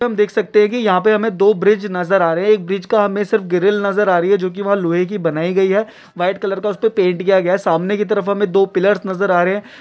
जैसे की हम देख सकते है कि यहां पर हमें दो ब्रिज नजर आ रहे हैं एक ब्रिज का हमें सिर्फ ग्रिल नजर आ रही है जोकि लोहे की बनाई गई है व्हाइट कलर का पैंट किया गया हैं | सामने की तरफ हमें दो पिलरस नजर आ रहे हैं ।